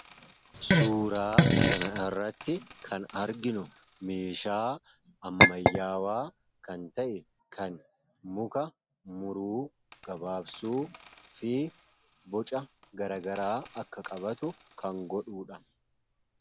Suuraa kan irratti kan arginu meeshaa ammayyaawaa kan ta'e kan muka muruu gabaabsuu fi boca garagaraa akka qabaatu kan godhuudha.